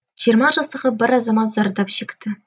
жиырма жастағы бір азамат зардап шекті